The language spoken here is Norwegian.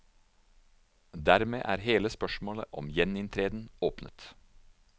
Dermed er hele spørsmålet om gjeninntreden åpent.